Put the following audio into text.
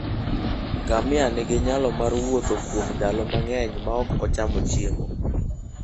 Ngamia nigi nyalo mar wuotho kuom ndalo mang'eny maok ocham chiemo.